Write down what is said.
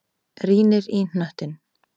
Rýnir í hnöttinn.